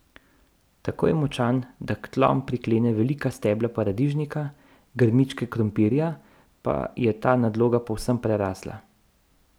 Tako je močan, da k tlom priklene velika stebla paradižnika, grmičke krompirja pa je ta nadloga povsem prerasla.